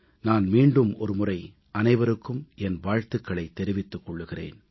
நான் மீண்டும் ஒரு முறை அனைவருக்கும் என் வாழ்த்துக்களைத் தெரிவித்துக் கொள்கிறேன்